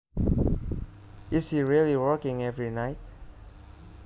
Is he really working every night